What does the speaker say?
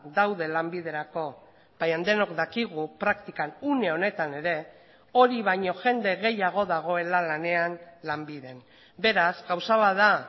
daude lanbiderako baina denok dakigu praktikan une honetan ere hori baino jende gehiago dagoela lanean lanbiden beraz gauza bat da